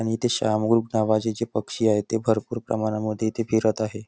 इथे शहामृग नावाचे जे पक्षी आहे ते भरपूर प्रमाणामध्ये इथे फिरत आहे.